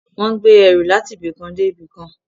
Wọ́n ń gbé ẹrù láti ibi kan dé ibi kan